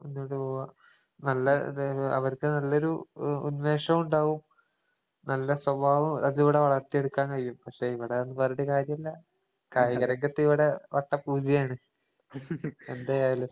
മുന്നോട്ട് പോവാ. നല്ല ഇതേ പോ അവർക്ക് നല്ലൊരു ഉ ഉണ്മേഷോണ്ടാവും, നല്ല സ്വഭാവം അതിവടെ വളർത്തിയെടുക്കാൻ കഴിയും. പക്ഷെ ഇവടതൊന്നും പറഞ്ഞിട്ട് കാര്യില്ല. കായിക രംഗത്തിവടെ വട്ട പൂജ്യാണ് എന്തരായാലും.